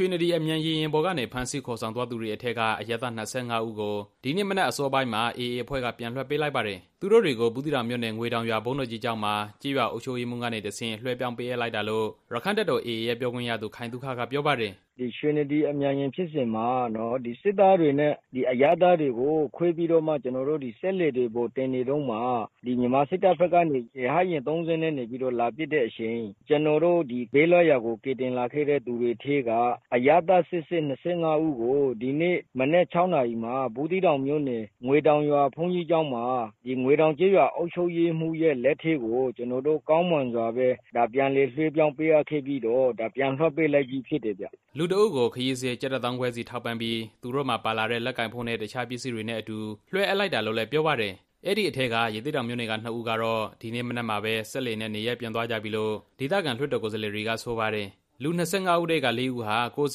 ွှေနဒီအမြန် ရေယာဉ်ပေါ်ကနေ ဖမ်းဆီးခေါ်ဆောင်သွားတဲ့လူတွေထဲက အရပ်သား ၂၅ ဦးကို ဒီနေ့မနက် အစောပိုင်း မှာ အေအေအဖွဲ့က ပြန်လွှတ်ပေးလိုက်တာဖြစ်ပါတယ်။ သူတို့တွေကို ဘူးသီးတောင်မြို့နယ် ငွေတောင်ရွာဘုန်းကြီးကျောင်းမှာ ကျေးရွာအုပ်ရေးမှူးကနေတဆင့် လွှဲပြောင်း ပေးအပ်လိုက်တာလို့ ရက္ခိုင့်တပ်တော် AA ရဲ့ပြောခွင့်ရသူ ခိုင်သုခက ပြောပါတယ်။ AA ပြောခွင့်ရသူ ခိုင်သုခ “ရွှေနဒီအမြန်ယာဉ်ဖြစ်စဉ်မှာ စစ်သားတွေနဲ့ အရပ်သားတွေကို ခွဲပြီး တော့မှ ကျွန်တော်တို့ စက်လှေတွေ ပေါ်တင်နေတုန်းမှာ မြန်မာစစ်တပ် ဘက်ကနေပြီးတော့ ရဟတ်ယာဉ် ၃ စီးနဲ့ လာပစ်တဲ့အချိန် ကျွန်တော် တို့ ဘေးလွတ်ရာကို ကယ်တင်လာခဲ့တဲ့သူတွေထဲက အရပ်သားစစ်စစ် ၂၅ ဦးကို ဒီနေ့မနက် ၆ နာရီမှာ ဘူးသီးတောင်မြို့နယ် ငွေတောင်ရွာ ဘုန်းကြီးကျောင်းမှာ ငွေတောင်ကျေးရွာအုပ်ချုပ်ရေးမှူးရဲ့လက်ထဲကို ကျွန်တော်တို့ ကောင်းမွန်စွာပဲ ပြန်လည်လွှဲပြောင်းပေးအပ်ခဲ့ပြီးတော့ ပြန်လွှတ်ပေးလိုက်ပြီးဖြစ်တယ်ဗျ” လူတစ်ဦးကို ခရီးစရိတ် ကျပ်တစ်သောင်းခွဲစီ ထောက်ပံ့ပြီး သူတို့မှာပါလာတဲ့ လက်ကိုင်ဖုန်းနဲ့ အခြားပစ္စည်းတွေနဲ့အတူ လွှဲအပ်လိုက်တာလို့ပြောပါတယ်။ အဲဒီအထဲက ရသေ့တောင်မြို့နယ်က နှစ်ဦးကတော့ ဒီနေ့မနက်မှာပဲ စက်လှေနဲ့ နေရပ်ပြန်သွားကြပြီလို့ ဒေသခံ လွှတ်တော်ကိုယ်စားလှယ်တွေက ဆိုပါတယ်။ လူ ၂၅ ဦးထဲက ၄ ဦးဟာ ကိုယ့်အ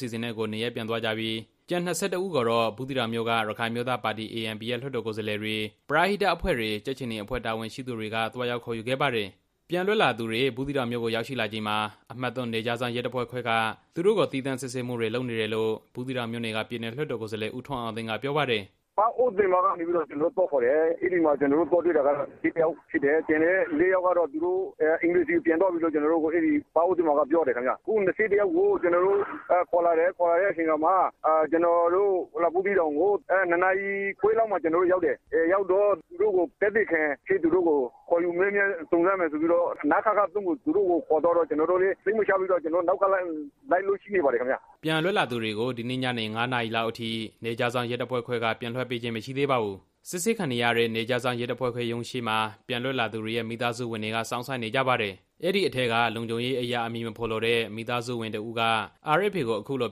စီအစဉ်နဲ့ကိုယ်နေရပ်ပြန်သွားပြီး ကျန် ၂၁ ဦးကိုတော့ ဘူးသီးတောင်မြို့က ရခိုင်အမျိုးသားပါတီ ANP ရဲ့လွှတ်တော်ကိုယ်စားလှယ်တွေ၊ ပရဟိတအဖွဲ့တွေ၊ ကြက်ခြေနီအဖွဲ့ တာဝန်ရှိသူတွေက သွားရောက်ခေါ်ယူခဲ့ပါတယ်။ ပြန်လွတ်လာသူတွေ ဘူးသီးတောင်မြို့ကိုရောက်ရှိလာချိန်မှာ အမှတ်(၃)နယ်ခြားစောင့်ရဲတပ်ဖွဲ့ခွဲက သူတို့ကို သီးသန့်စစ်ဆေးမှုတွေလုပ်နေတယ်လို့ ဘူးသီးတောင်မြို့နယ်က ပြည်နယ်လွှတ်တော် ကိုယ်စားလှယ် ဦးထွန်းအောင်သိန်းက ပြောပါတယ်။ “ပန်းအိုးသည်မရွာကနေပြီးတော့ ကျွန်တော်တို့သွားခေါ်တယ်။ အဲဒီမှာ ကျွန်တော်တို့ခေါ်လာခဲ့တာက ၂၁ ယောက် ဖြစ်တယ်။ ကျန်တဲ့ ၄ ယောက်ကတော့ သူတို့အိမ်တွေဆီပြန်သွားပြီလို့ ရွာသားတွေကပြောတယ်ခင်ဗျ။ အဲဒီလူ ၂၁ ယောက်ကို ကျွန်တော်တို့ခေါ်လာတယ်။ ခေါ်လာတဲ့အချိန်ခါမှာ ဘူးသီးတောင်ကို ၂ နာရီခွဲ လောက်မှာရောက်တယ်။ ရောက်တဲ့အခါမှာ သူတို့ကို သက်သေအဖြစ် ခေါ်ယူမေးမြန်းစုံစမ်းမယ်ဆိုပြီးတော့ နခခ(၃)ကို သူတို့ကိုခေါ်သွား ပြီးတော့ ကျွန်တော်တို့လည်း စိတ်မချလို့ နောက်ကလိုက်လို့ကြည့်နေပါတယ်ခင်ဗျ” ပြန်လွတ်လာသူတွေကို ဒီနေ့ညနေ ၅ နာရီလောက်အထိ နယ်ခြားစောင့်ရဲတပ်ဖွဲ့က ပြန်လွှတ်ပေးခြင်း မရှိသေးပါဘူး။ စစ်ဆေးနေရတဲ့ နယ်ခြားစောင့်ရဲတပ်ဖွဲ့ခွဲရုံးရှေ့မှာ ပြန်လွတ်လာသူတွေရဲ့ မိသားစုဝင်တွေက စောင့်ဆိုင်းနေ ကြပါတယ်။ အဲဒီအထဲက လုံခြုံရေးအရ အမည်မဖော်လိုတဲ့ မိသားစုဝင်တစ်ဦးက RFA ကို အခုလို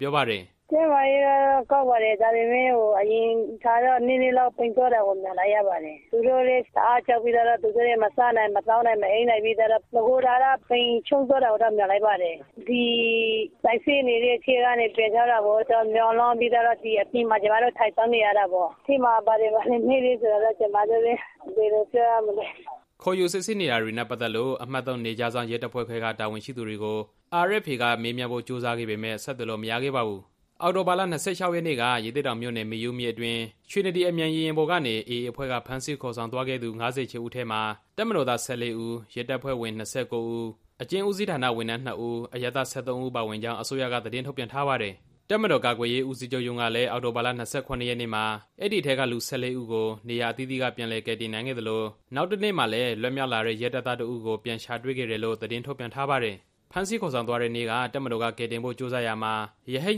ပြောပါတယ်။ “ကျန်းမာရေးကတော့ကောင်းပါတယ်။ ဒါပေမဲ့ အရင်ထက်တော့ နည်းနည်းပိန်သွားတာပေါ့။ ကြောက်စိတ်နဲ့ မစားနိုင်၊ မသောက်နိုင်၊ မအိပ်နိုင်ဖြစ်ပြီးတော့ ပိန်ချုံ့သွားတာပေါ့။ အခုစစ်ဆေးနေတဲ့နေရာကနေ ပြန်ထွက်လာဖို့ကို မျှော်လင့်ပြီးတော့ အပြင်ကနေ ကျွန်မတို့က ထိုင်စောင့်နေပါတယ်။ အထဲမှာ ဘာတွေကိုမေးမြန်းနေတာလဲဆိုတာကို ကျွန်မတို့လည်းမသိဘူး” ခေါ်ယူစစ်ဆေးနေတာတွေနဲ့ ပတ်သက်လို့ အမှတ် (၃) နယ်ခြားစောင့် ရဲတပ်ဖွဲ့ခွဲ တာဝန်ရှိသူတွေကို RFA က မေးမြန်းဖို့ကြိုးစားခဲ့ပေမယ့် ဆက်သွယ်လို့မရခဲ့ပါဘူး။ အောက်တိုဘာ ၂၆ ရက်နေ့က ရသေ့တောင်မြို့နယ်၊ မေယုမြစ်အတွင်း ရွှေနဒီ အမြန်ရေယာဉ်ပေါ်ကနေ AA အဖွဲ့က ဖမ်းဆီးခေါ်ဆောင်သွားခဲ့တဲ့သူ ၅၈ ဦးထဲမှာ တပ်မတော်သား ၁၄ ဦး၊ ရဲတပ်ဖွဲ့ဝင် ၂၉ ဦး၊ အကျဉ်းဦးစီးဌာနဝန်ထမ်း နှစ်ဦး၊ အရပ်သား ၁၃ ဦး ပါဝင်ကြောင်း အစိုးရက သတင်းထုတ်ပြန်ထားပါတယ်။ တပ်မတော်ကာကွယ်ရေးဦးစီးချုပ်ရုံးကလည်း အောက်တိုဘာ ၂၇ ရက်နေ့မှာ အဲဒီအထဲက လူ ၁၄ ဦးကို နေရာ အသီးသီးက ပြန်လည်ကယ်တင်နိုင်ခဲ့သလို နောက်တစ်နေ့မှာလည်း လွတ်မြောက်လာတဲ့ ရဲတပ်သား တစ်ဦးကို ပြန်ရှာတွေ့ခဲ့တယ်လို့ ထုတ်ပြန်ထားပါတယ်။ ဖမ်းဆီးခေါ်ဆောင်သွားတဲ့နေ့က တပ်မတော်က ကယ်တင်ဖို့ ကြိုးစားရာမှာ ရဟတ်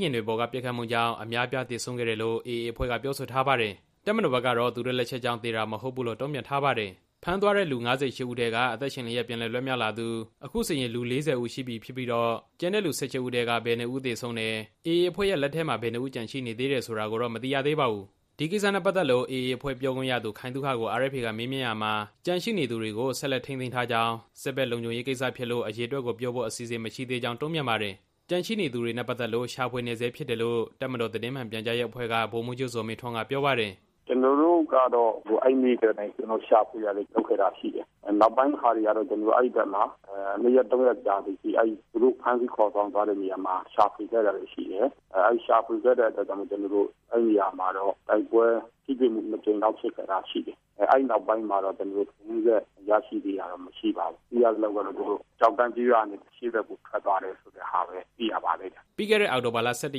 ယာဉ်တွေပေါ်က ပစ်ခတ်မှုကြောင့် အများအပြား သေဆုံးခဲ့တယ်လို့ AA အဖွဲ့က ပြောဆိုထားပါတယ်။ တပ်မတော်ကတော့ သူတို့လက်ချက်ကြောင့် သေတာမဟုတ်ဘူးလို့ တုံ့ပြန်ထားပါတယ်။ ဖမ်းသွားတဲ့ လူ ၅၈ ဦးထဲက အသက်ရှင်လျက် ပြန်လည်လွတ်မြောက်လာသူ အခုဆိုရင် လူ ၄၀ ဦးရှိပြီဖြစ်ပြီးတော့ ကျန်တဲ့ လူ ၁၈ ဦးထဲက ဘယ်နှစ်ဦး သေဆုံးသွားတယ်၊ AA အဖွဲ့ရဲ့လက်ထဲမှာ ဘယ်နှစ်ဦး ကျန်ရှိနေတယ်ဆိုတာ ကိုတော့ မသိရသေးပါဘူး။ ဒီကိစ္စနဲ့ပတ်သက်လို့ AA ပြောခွင့်ရသူ ခိုင်သုခကို RFA ကမေးမြန်းရာမှာ ကျန်ရှိနေသူတွေကို ဆက်လက်ထိန်းသိမ်း ထားကြောင်း၊ စစ်ဘက်လုံခြုံရေးကိစ္စဖြစ်လို့ အရေအတွက်ကိုပြောဖို့ အစီအစဉ် မရှိသေးကြောင်း တုံ့ပြန်ပါတယ်။ ကျန်ရှိနေသူတွေနဲ့ပတ်သက်လို့ ရှာဖွေနေဆဲဖြစ်တယ်လို့ တပ်မတော်သတင်းမှန်ပြန်ကြားရေးအဖွဲ့က ဗိုလ်မှူးချုပ်ဇော်မင်းထွန်းက ပြောပါတယ်။ တပ်မတော်သတင်းမှန်ပြန်ကြားရေးအဖွဲ့က ဗိုလ်မှူးချုပ် ဇော်မင်းထွန်း “ကျွန်တော်တို့ကတော့ အဲဒီနေ့ကတည်းက ရှာဖွေတာတွေလုပ် ခဲ့တာရှိတယ်။ နောက်ပိုင်းမှာတော့ အဲဒီဘက်မှာ နှစ်ရက်သုံးရက်ကြာ သည်အထိ သူတို့ဖမ်းဆီးခေါ်ဆောင်သွားတဲ့နေရာမှာ ရှာဖွေခဲ့တာတွေ ရှိတယ်။ အဲလိုရှာဖွေစဉ်မှာပဲ အဲဒီနေရာမှာ တိုက်ပွဲထိတွေ့မှု နှစ်ကြိမ် လောက်ဖြစ်ခဲ့တာရှိတယ်။ အဲဒီနောက်ပိုင်းမှာတော့ လူတွေကိုရရှိခဲ့ တာတော့ မရှိသေးပါဘူး။ သိရသလောက်တော့ သူတို့က ကျောက်တန်း ကျေးရွာရဲ့ အရှေ့ဘက်ကို ထွက်သွားတယ်ဆိုတဲ့ဟာပဲ သိရပါတယ်” ပြီးခဲ့တဲ့ အောက်တိုဘာလ ၁၁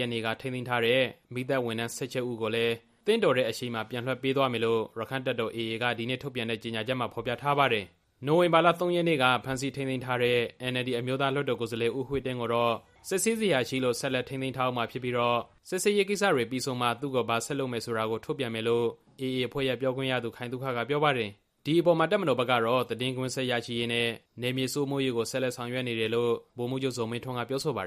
ရက်နေ့က ထိန်းသိမ်းထားတဲ့ မီးသတ်ဝန်ထမ်း ၁၈ ဦးကိုလည်း သင့်တော်တဲ့အချိန်မှာ ပြန်လွှတ် ပေးသွားမယ်လို့ ရက္ခိုင့်တပ်တော် AA က ဒီနေ့ထုတ်ပြန်တဲ့ ကြေညာချက်မှာ ဖော်ပြထားပါတယ်။ နိုဝင်ဘာ ၃ ရက်နေ့က ဖမ်းဆီးထိန်းသိမ်းထားတဲ့ NLD အမျိုးသားလွှတ်တော်ကိုယ်စားလှယ် ဦးဝှေ့တင်းကိုတော့ စစ်ဆေးစရာရှိလို့ ဆက်လက်ထိန်းသိမ်းထားဦးမှာဖြစ်ပြီးတော့ စစ်ဆေးရေးကိစ္စတွေပြီးဆုံးမှ သူ့ကိုဘာဆက်လုပ်လုပ်မယ်ဆိုတာကို ထုတ်ပြန်မယ်လို့ အေအေရဲ့ပြောခွင့်ရသူ ခိုင်သုခကပြောပါတယ်။ ဒီအပေါ်မှာ တပ်မတော်ဘက်ကတော့ သတင်းကွင်းဆက်ရရှိရေးနဲ့ နယ်မြေစိုးမိုးရေးကို ဆက်လက်ဆောင်ရွက်နေ တယ်လို့ ဗိုလ်မှူးချုပ်ဇော်မင်းထွန်း ကပြောဆိုပါတယ်